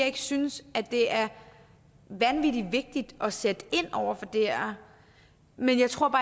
ikke synes at det er vanvittig vigtigt at sætte ind over for det her men jeg tror